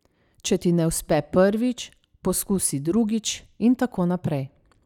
Če ti ne uspe prvič, poskusi drugič in tako naprej.